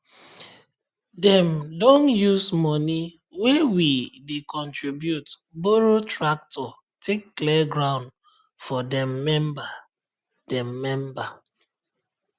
dem don use money wey we dey contribute borrow tractor take clear ground for dem member dem member